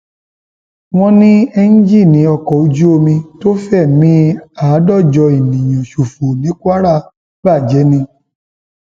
wọn ní ẹńjìnnì ọkọ ojú omi tó fẹmí àádọjọ èèyàn ṣòfò ní kwara bàjẹ ni